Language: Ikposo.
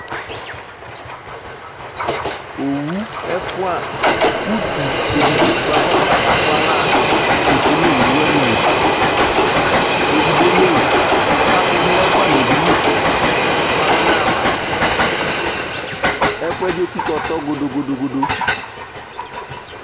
Owu ɛfʋa, utu edigbo bʋa kʋ ɔta la kakʋ ala ketsue nʋ owu wanɩ li Edigbo eme, ɔkakʋdʋ nʋ ɛfʋanɩ yɛ bɩ li kamabanaɣa fa Ɛfʋ yɛ bɩ etsikǝ ɔtɔ godo-godo